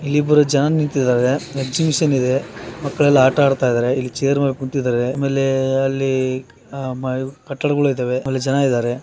ಇಲ್ಲಿ ಇಬ್ಬರು ಜನ ನಿಂತಿದ್ದಾರೆ ಎಗ್ಸಿಬಿಷನ್‌ ಇದೆ ಮಕ್ಕಳೆಲ್ಲಾ ಆಟ ಆಡುತ್ತಿದ್ದಾರೆ ಇಲ್ಲಿ ಚೇರ್‌ ಮೇಲೆ ಕುಂತಿದ್ದಾರೆ ಆಮೇಲೆ ಅಲ್ಲಿ ಕಟ್ಟಡಗಳು ಇದ್ದಾವೆ ಅಲ್ಲಿ ಜನ ಇದ್ದಾರೆ.